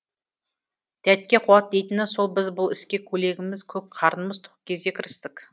дәтке қуат дейтіні сол біз бұл іске көйлегіміз көк қарнымыз тоқ кезде кірістік